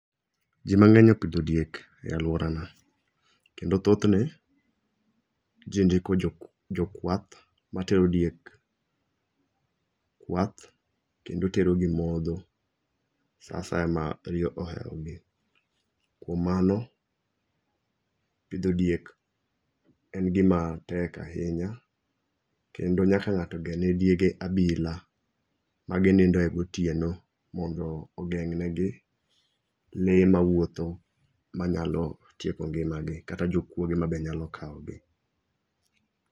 Ji mang'eny opidho diek e alworana. Kendo thothne, ji ndiko jokwath matero diek kwath kendo terogi modho sa asaya ma riyo ohewogi. Kuom mano, pidho diek en gima tek ahinya, kendo nyaka ng'ato ger ne diege abila maginindoe gotieno mondo ogeng'negi lee mawuotho manyalo tieko ngimagio kata jokuoge mabe nyalo kawogi.